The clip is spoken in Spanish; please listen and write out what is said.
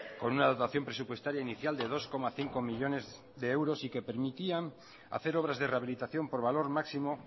con una dotación presupuestaria inicial de dos coma cinco millónes de euros y que permitían hacer obras de rehabilitación por valor máximo